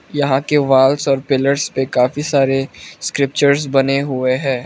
यहां के wall pillars पर काफी सारे स्क्रिप्चर्स बने हुए हैं।